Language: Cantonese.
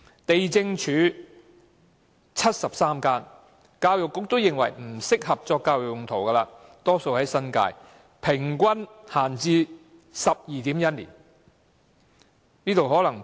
地政總署轄下也有73間空置校舍，但教育局認為不適合作教育用途，大多數位於新界，平均閒置 12.1 年。